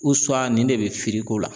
nin de be feere k'o la